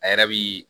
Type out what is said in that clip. A yɛrɛ bi